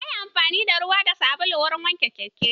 Nayi amfani da ruwa da sabulu wurin wanke keken